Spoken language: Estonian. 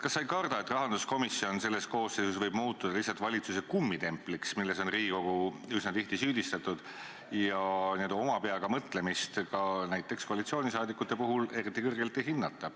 Kas sa ei karda, et rahanduskomisjon selles koosseisus võib muutuda lihtsalt valitsuse kummitempliks, milles on Riigikogu üsna tihti süüdistatud, ja n-ö oma peaga mõtlemist ka näiteks koalitsiooni liikmete puhul eriti kõrgelt ei hinnata?